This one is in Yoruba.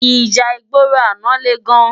Íjà igbóró àná lé gán